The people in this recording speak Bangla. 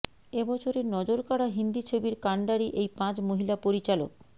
এ বছরের নজরকাড়া হিন্দি ছবির কান্ডারি এই পাঁচ মহিলা পরিচালক